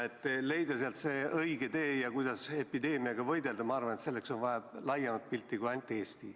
Leida sealt see õige tee ja kuidas epideemiaga võidelda, selleks on vaja laiemat pilti kui ainult Eesti.